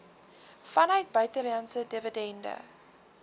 vanuit buitelandse dividende